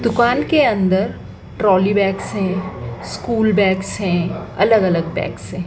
दुकान के अन्दर ट्रॉली बैग्स हैं स्कूल बैग्स हैं अलग-अलग बैग्स हैं।